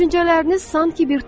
Düşüncələriniz sanki bir toxumdur.